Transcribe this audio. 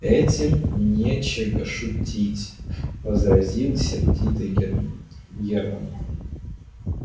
этим нечего шутить возразил сердито германн германн